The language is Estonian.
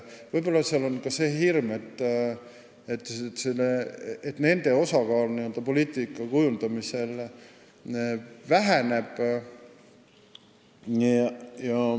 Võib-olla on neil see hirm, et nende osakaal poliitika kujundamisel väheneb.